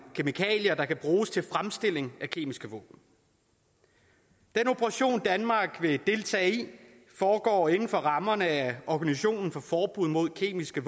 kemikalier der kan bruges til fremstilling af kemiske våben den operation danmark vil deltage i foregår inden for rammerne af organisationen for forbud mod kemiske